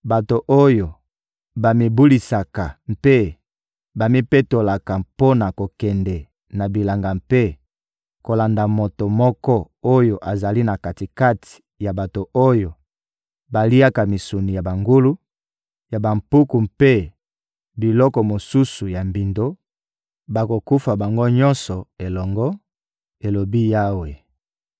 «Bato oyo bamibulisaka mpe bamipetolaka mpo na kokende na bilanga mpe kolanda moto moko oyo azali na kati-kati ya bato oyo baliaka misuni ya bangulu, ya bampuku mpe biloko mosusu ya mbindo, bakokufa bango nyonso elongo,» elobi Yawe.